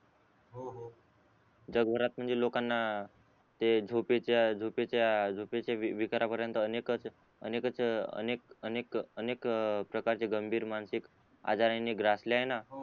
जगभरात म्हणजे लोकांना ते झोपयेच्या झोपयेच्या झोपयेच्या विकारा पर्यंत अनेककच अनेककच अनेक अनेक अनेक प्रकारचे गंभीर मानसिक आजारांनी ग्रासले आहेना